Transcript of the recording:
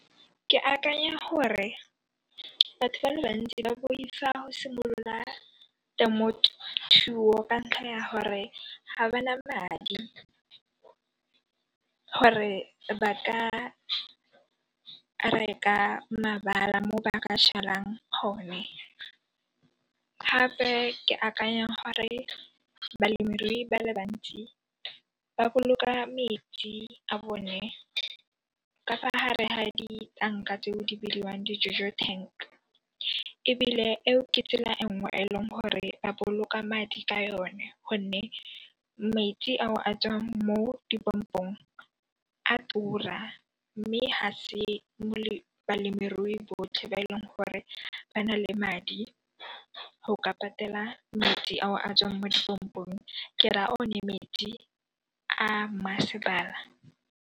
Ke akanya gore batho ba le bantsi ba boifa go simolola temothuo ka ntlha ya gore ga ba na madi gore ba ka reka mabala mo ba ka jalang gone, gape ke akanya gore balemirui ba le bantsi ba boloka metsi a bone ka fa hare ha ditanka tseo di bidiwang di Juju tank ebile eo ke tsela e nngwe e leng gore ba boloka madi ka yone gonne metsi ao a tswang mo di pompong a tura mme ha se balemirui botlhe ba e leng gore ba nale madi go ka patela madi ao a tswang mo di pompong, ke raa one metsi a masepala.